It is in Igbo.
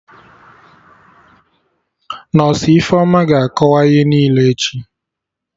Nọsụ Ifeoma ga-akọwa ihe niile echi